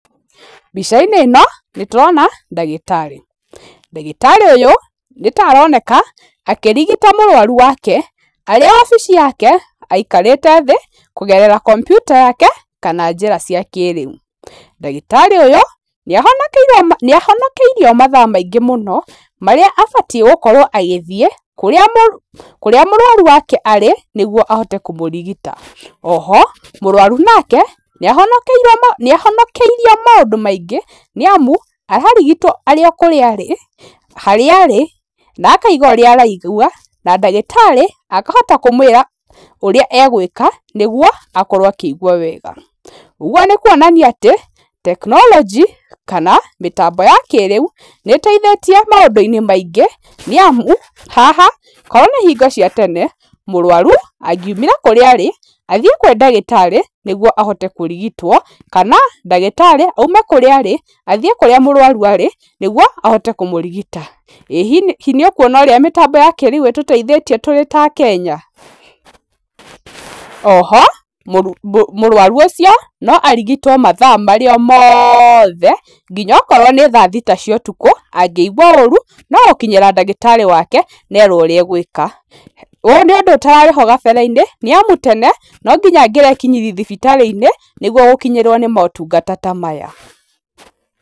Mbica-inĩ ĩno nĩ tũrona ndagĩtarĩ, ndagĩtarĩ ũyũ nĩ ta aroneka akĩrigita mũrwaru wake, arĩ obici yake, aikarĩte thĩ kũgerera kombiuta yake kana njĩra cia kĩrĩu. Ndagĩtarĩ ũyũ nĩ ahonokeire nĩ ahonokeirio mathaa maingĩ mũno, marĩa abatiĩ gũkorwo agĩthiĩ kũrĩa mũ kũríĩ mũrwaru wake arĩ nĩguo ahote kũmũrigita, oho, mũrwaru nake nĩ ahonokeire nĩ ahonokeirio maũndũ maingĩ , nĩ amu ararigitwo arĩ o kũrĩa arĩ, harĩa arĩ, na akauga ũrĩa araigwa, na ndagĩtarĩ akahota kũmwĩra ũrĩa egwĩka nĩguo akorwo akĩigwa wega, ũguo nĩ kuonania atĩ tekinoronjĩ kana mĩtambo ya kĩrĩu, nĩ ĩteithĩtie maũndũ-inĩ maingĩ, nĩ amu haha ko nĩ hingo cia tene, mũrwaru angiumire kũrĩa arĩ athiĩ kwĩ ndagĩtarĩ nĩguo ahote kũrigitwo, kana nddagĩtarĩ aume kũrĩa arĩ, athiĩ kũrĩa mũrwaru arĩ, nĩguo ahote kũmũrigita, ĩ hihi nĩ ũkuona ũrĩa mĩtambo ya kĩrĩu ĩtũteithĩtie tũrĩ ta akenya? Oho, mũrwaru ũcio no arigitwo mathaa marĩ o mothe, nginya akorwo nĩ thaa thita cia ũtukũ, angĩigwa ũru no gũkinyĩra ndagĩtarĩ wake nerwo ũrĩa agwĩka, ũyũ nĩ ũndũ ũtararĩ ho kabere-inĩ, nĩ amu tene no nginya angĩrekinyirie thibitarĩ-inĩ, nĩguo gũkinyĩrwo nĩ motungata ta maya.